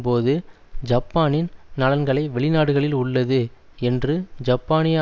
போது ஜப்பானின் நலன்களை வெளிநாடுகளில் உள்ளது என்று ஜப்பானிய